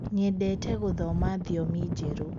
nyendete guthoma thiomi jerũ